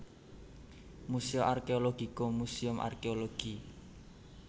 Museo Archeologico Museum Arkéologi